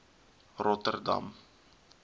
rotterdam